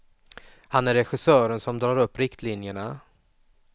Han är regissören som drar upp riktlinjerna.